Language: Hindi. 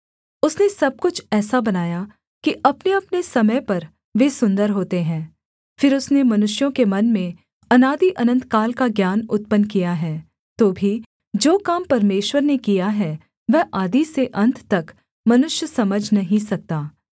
उसने सब कुछ ऐसा बनाया कि अपनेअपने समय पर वे सुन्दर होते हैं फिर उसने मनुष्यों के मन में अनादिअनन्तकाल का ज्ञान उत्पन्न किया है तो भी जो काम परमेश्वर ने किया है वह आदि से अन्त तक मनुष्य समझ नहीं सकता